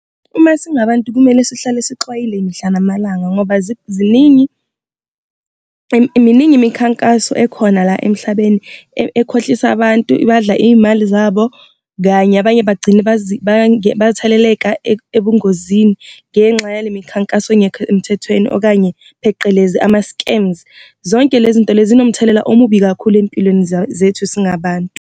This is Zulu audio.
Uma singabantu kumele sihlale sixwayile mihla namalanga ngoba ziningi, miningi imikhankaso ekhona la emhlabeni ekhohlisa abantu ibadla iy'mali zabo, kanye abanye bagcine batheleleleka ebungozini ngenxa yale mikhankaso engekho emthethweni okanye pheqelezi ama-scams. Zonke le zinto lezi zinomthelela omubi kakhulu empilweni zethu singabantu.